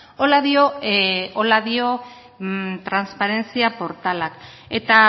horrela dio transparentzia portalak eta